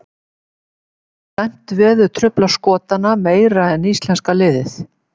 Gæti slæmt veður truflað Skotana meira en íslenska liðið?